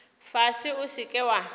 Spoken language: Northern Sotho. fase o se ke wa